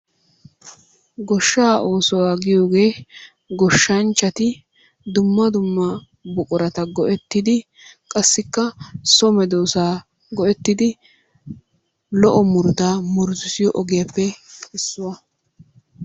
Goshshaa oosuwa giyogee goshshanchchati dumma dumma buqurata go'ettidi qassikka so medoosaa go'ettidi lo"o murutaa murutissiyo ogiyaappe issuwa.